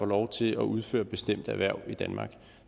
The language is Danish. lov til at udføre bestemt erhverv i danmark